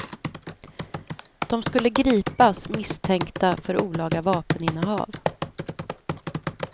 De skulle gripas misstänkta för olaga vapeninnehav.